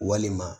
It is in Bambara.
Walima